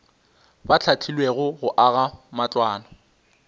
ba hlahlilwego go aga matlwana